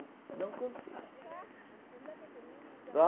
Não consigo.